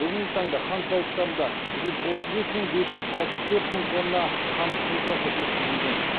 бүгінгі таңда қант зауыттарында жүз отыз бес мың бес жүз алпыс төрт мың тонна қант қызылшасы өткізілген